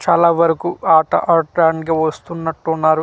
చాలా వరకు ఆట ఆట ఆడ్డానికి వస్తున్నట్టు ఉన్నారు చ--